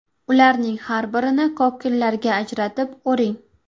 Ularning har birini kokillarga ajratib, o‘ring.